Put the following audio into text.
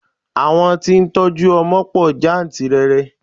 Àwọn tí ó ń tọ́jú ọmọ pọ̀ jáǹtìrẹrẹ.